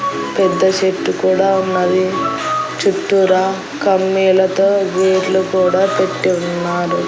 పెద్ద చెట్టు కూడా ఉన్నది చుట్టూరా కమ్మీలతో వేర్లు కూడా పెట్టి ఉన్నారు.